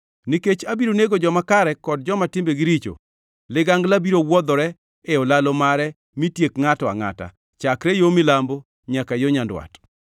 Nikech abiro nego joma kare kod joma timbegi richo, ligangla biro wuodhore e olalo mare mitiek ngʼato angʼata, chakre yo milambo nyaka yo nyandwat.